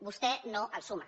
vostè no el suma